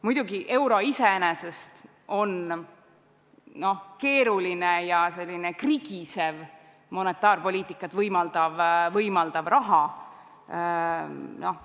Muidugi, euro iseenesest on keeruline ja selline krigisev, monetaarpoliitikat võimaldav raha.